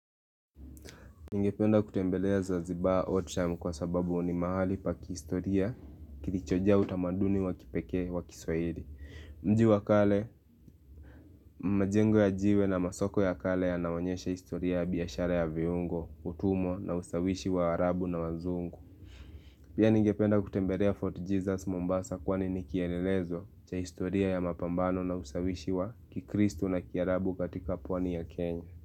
Ningependa kutembelea Zanzibar old time kwa sababu ni mahali pa kihistoria kilichojaa utamaduni wa kipekee wa kiswahili. Mji wa kale, majengo ya jiwe na masoko ya kale yanaonyesha historia ya biashara ya viungo, utumwa na usawishi wa waarabu na wazungu. Pia ningependa kutembelea Fort Jesus Mombasa kwani nikielelezo cha historia ya mapambano na usawishi wa kikristu na kiarabu katika pwani ya Kenya.